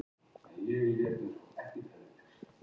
Frétt á vef Þjóðkirkjunnar